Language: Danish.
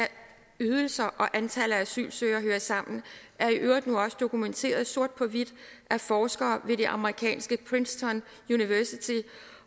ydelser og antallet af asylsøgere hører sammen er i øvrigt nu også dokumenteret sort på hvidt af forskere ved det amerikanske princeton university